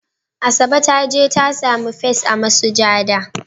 Asabe ta je ta sami first a masujada.